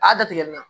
A y'a datigɛ nin na